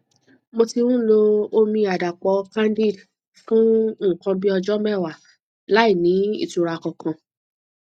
mo ti ń lo omi àdàpò candid fún nǹkan bí ọjọ mẹwàá láìní ìtura kankan